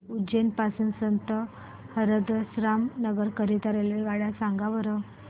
उज्जैन पासून संत हिरदाराम नगर करीता रेल्वेगाड्या सांगा बरं